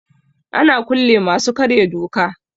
Ana kulle masu karya doka.